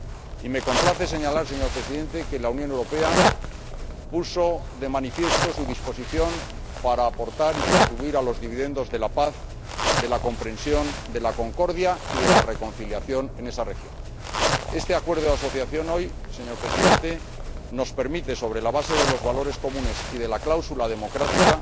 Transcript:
Y me complace señalar, señor Presidente, que la Unión Europea puso de manifiesto su disposición para contribuir a los dividendos de la paz, de la comprensión, de la concordia y de la reconciliación en esa región. Este Acuerdo de Asociación nos permite ahora, señor Presidente, sobre la base de los valores comunes y de la cláusula democrática,